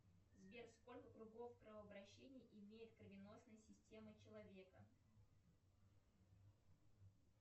сбер сколько кругов кровообращения имеет кровеносная система человека